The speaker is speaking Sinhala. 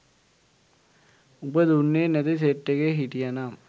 උඹ දුන්නේ නැති සෙට් එකේ හිටියනම්